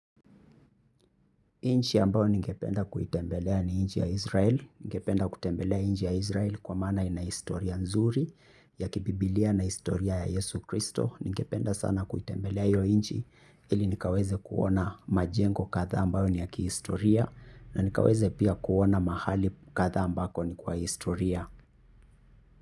Nchi ambayo ningependa kuitembelea ni nchi ya Israel. Ningependa kutembelea nchi ya Israel kwa maana ina historia nzuri ya kibiblia na historia ya Yesu Kristo. Ningependa sana kuitembelea hiyo nchi ili nikaweze kuona majengo kadhaa ambayo ni ya kihistoria. Na nikaweze pia kuona mahali kadhaa ambako ni kwa historia.